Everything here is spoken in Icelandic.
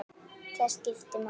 Það skipti máli.